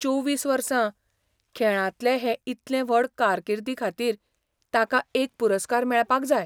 चोवीस वर्सां.. खेळांतले हे इतले व्हड कारकिर्दीखातीर ताका एक पुरस्कार मेळपाक जाय.